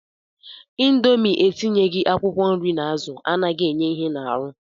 Indomie etinyeghi akwụkwọ nri na azụ anaghị enye ihe n'arụ